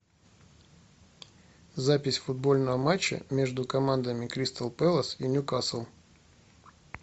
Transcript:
запись футбольного матча между командами кристал пэлас и нью касл